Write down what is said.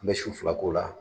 N bɛ su fila k'o la.